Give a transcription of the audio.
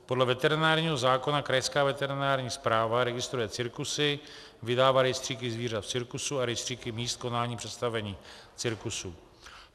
Podle veterinárního zákona krajská veterinární správa registruje cirkusy, vydává rejstříky zvířat v cirkusu a rejstříky míst konání představení cirkusů.